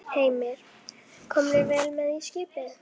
Heimir: Komnir vel með í skipið?